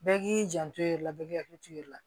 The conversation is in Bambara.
Bɛɛ k'i janto i yɛrɛ la bɛɛ k'i hakili to i yɛrɛ la